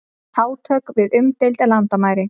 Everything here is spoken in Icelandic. Átök við umdeild landamæri